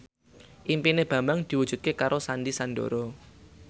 impine Bambang diwujudke karo Sandy Sandoro